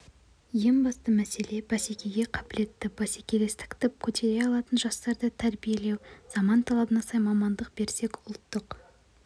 ең басты мәселе бәсекеге қабілетті бәсекелестікті көтере алатын жастарды тәрбиелеу заман талабына сай мамандық берсек ұлттық